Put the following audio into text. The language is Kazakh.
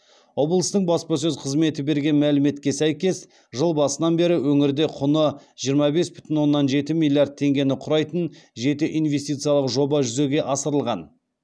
облыстың баспасөз қызметі берген мәліметке сәйкес жыл басынан бері өңірде құны жиырма бес бүтін оннан жеті миллиард теңгені құрайтын жеті инвестициялық жоба жүзеге асырылған